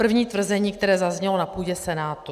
První tvrzení, které zaznělo na půdě Senátu: